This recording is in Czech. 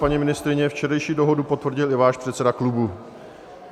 Paní ministryně, včerejší dohodu potvrdil i váš předseda klubu.